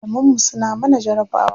Malaman mu suna mana jarabawa.